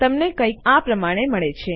તમને કંઈક આ પ્રમાણે મળે છે